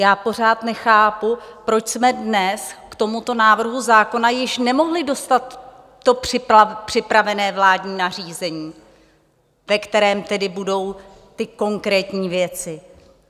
Já pořád nechápu, proč jsme dnes k tomuto návrhu zákona již nemohli dostat to připravené vládní nařízení, ve kterém tedy budou ty konkrétní věci.